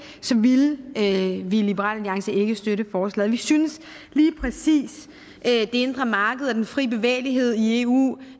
ville vi i liberal alliance ikke støtte forslaget vi synes lige præcis at det indre marked og den frie bevægelighed i eu